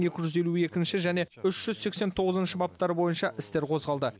екі жүз елу екінші және үш жүз сексен тоғызыншы баптары бойынша істер қозғалды